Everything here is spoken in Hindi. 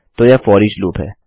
तो यह फोरिच लूप है